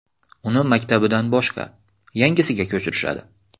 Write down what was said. Uni maktabidan boshqa, yangisiga ko‘chirishadi.